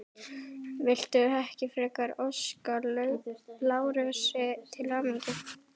Viltu ekki frekar óska Lárusi til hamingju?